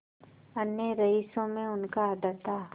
अन्य रईसों में उनका आदर था